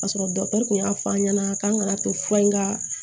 Ka sɔrɔ dɔkitɛriw y'a fɔ an ɲɛna k'an ka to fura in ka